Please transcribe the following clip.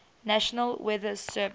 national weather service